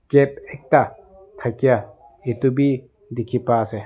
cap ekta thakia etu bi dikhi pai ase.